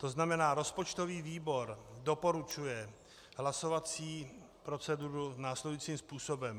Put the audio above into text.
To znamená, rozpočtový výbor doporučuje hlasovací proceduru následujícím způsobem.